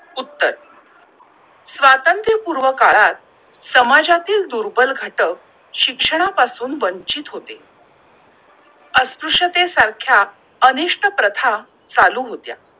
उत्तर स्वातंत्र्य पूर्व काळात समाजातील दुर्बल घट शिक्षणा पासून वंचित होते! अस्पुश्यते सारख्या अनिष्ट प्रथा चालू होत्या!